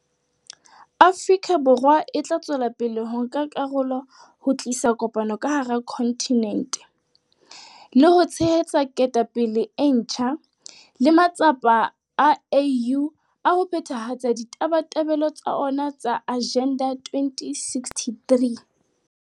Afrika Borwa e tla tswela pele ho nka karolo ho tlisa kopano ka hara kontinente, le ho tshehetsa ketapele e ntjha le matsapa a AU a ho phethahatsa ditabatabelo tsa ona tsa Agenda 2063.